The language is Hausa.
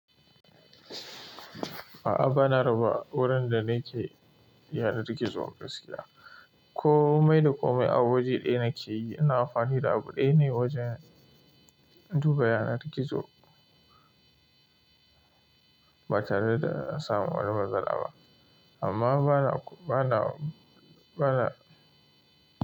A'a, bana raba gurin da nake yanar gizo a gaskiya. Komai da komai a waje ɗaya nake yi, ina amfani da abu ɗaya ne wajen duba yanar gizo. Ba tare da in samun wani matsala ba. Amma bana, bana, bana.